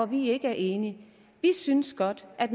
vi ikke er enige vi synes godt at